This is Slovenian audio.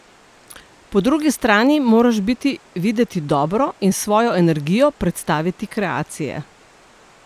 Po drugi strani moraš biti videti dobro in s svojo energijo predstaviti kreacije.